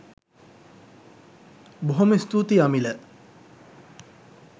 බොහොම ස්තුතියි අමිල